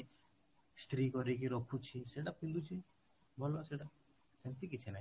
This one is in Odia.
ଇସ୍ତ୍ରୀ କରିକି ରଖୁଛି ସେଟା ପିନ୍ଧୁଛି ଭଲ ସେଟା ସେମିତି କିଛି ନାହିଁ